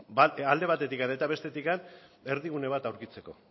alde batetik eta bestetik erdigune bat aurkitzeko